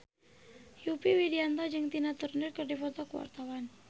Yovie Widianto jeung Tina Turner keur dipoto ku wartawan